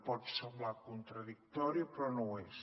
pot semblar contradictori però no ho és